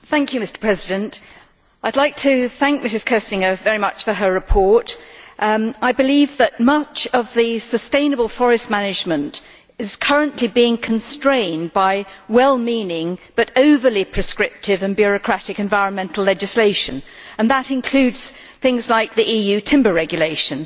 Mr President, I would like to thank Ms Köstinger very much for her report. I believe that much sustainable forest management is currently being constrained by well-meaning but overly prescriptive and bureaucratic environmental legislation, and that includes things like the EU Timber Regulation.